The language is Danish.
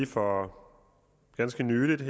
for ganske nylig